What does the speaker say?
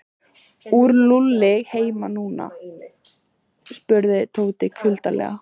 Er Lúlli heima núna? spurði Tóti kuldalega.